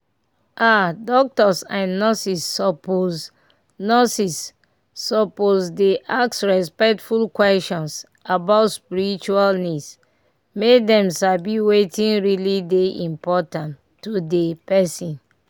ah doctors and nurses suppose nurses suppose dey ask respectful questions about spiritual needs make dem sabi wetin really dey important to dey person.